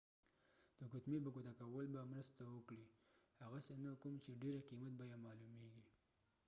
د ګوتمې په ګوته کول به مرسته وکړي هغسې نه کوم چې ډیرې قیمت بیه معلومېږي